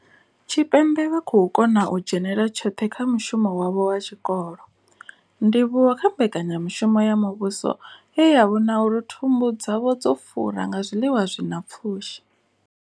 Tshipembe vha khou kona u dzhenela tshoṱhe kha mushumo wavho wa tshikolo, ndivhuwo kha mbekanya mushumo ya muvhuso ye ya vhona uri thumbu dzavho dzo fura nga zwiḽiwa zwi na pfushi.